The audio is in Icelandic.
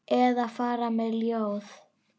Eða fara með ljóð.